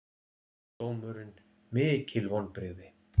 Dómurinn mikil vonbrigði